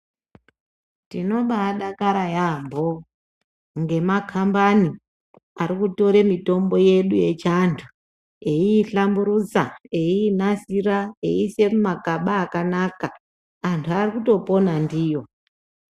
Tinobaadakara yaambo ngemakambani arikutore mitombo yedu yechiantu, eiihlamburutsa, eiinasira, eiise mumakaba akanaka. Antu arikutopona ndiyo.